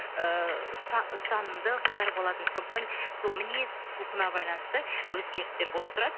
ыыы ұстанымды қыздар болатын сондықтан сол мінез құлқына байланысты өзгерістер болып тұрады